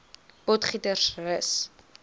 potgietersrus